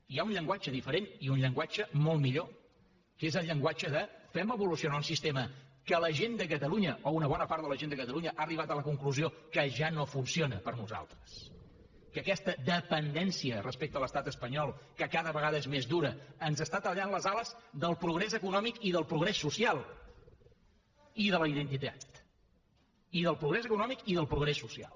i hi ha un llenguatge diferent i un llenguatge molt millor que és el llenguatge de fem evolucionar un sistema que la gent de catalunya o una bona part de la gent de catalunya ha arribat a la conclusió que ja no funciona per a nosaltres que aquesta dependència respecte a l’estat espanyol que cada vegada és més dura ens està tallant les ales del progrés econòmic i del progrés social i de la identitat del progrés econòmic i del progrés social